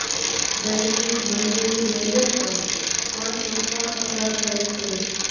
વૈશ્વિક મંદીની રેલવે પર પણ ચોક્કસ અસર થઈ છે